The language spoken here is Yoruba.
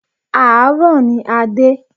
Àárọ̀ ní a dé.